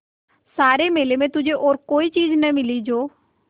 सारे मेले में तुझे और कोई चीज़ न मिली जो